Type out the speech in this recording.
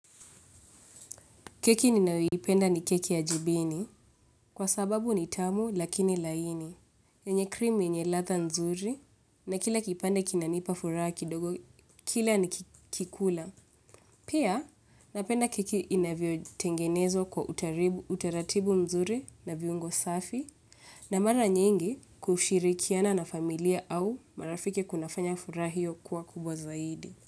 Keki ninayoipenda ni keki ya jibini kwa sababu ni tamu lakini laini. Yenye cream yenye latha nzuri na kila kipande kinanipa furaha kidogo kila nikikula. Pia napenda keki inavyo tengenezwa kwa utaratibu nzuri na viungo safi na mara nyingi kushirikiana na familia au marafiki kunafanya furaha hiyo kuwa kubwa zaidi.